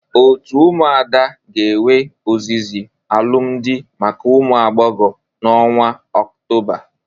Otu ụmụada ga-ewe ozizi alụmdị maka ụmụ agboghọbịa n'ọnwa ọktoba.